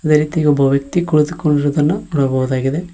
ಅದೇ ರೀತಿಯ ಒಬ್ಬ ವ್ಯಕ್ತಿ ಕುಳಿತುಕೊಂಡಿರುವುದನ್ನ ನೋಡಬಹುದಾಗಿದೆ.